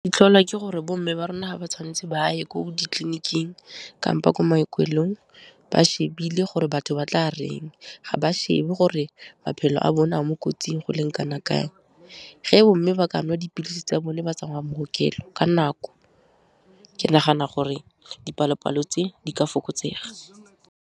Di tlholwa ke gore bo mme ba rona ga tshwantse ba ye ko ditleliniking kampo ko maokelong, ba shebile gore batho ba tla reng, ga ba shebe gore maphelo a bone a mo kotsing go leng kana kang. Ge bomme ba ka nwa dipilisi tsa bone ba tsamaya maokelo ka nako, ke nagana gore dipalo-palo tse di ka fokotsega.